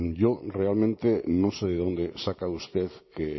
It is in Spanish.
yo realmente no sé de dónde saca usted que